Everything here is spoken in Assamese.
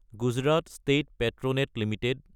Gujarat state Petronet Ltd